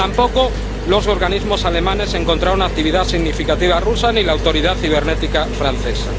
Tampoco los organismos alemanes encontraron una actividad significativa rusa, ni la autoridad cibernética francesa.